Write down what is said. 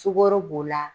Sukaro b'o la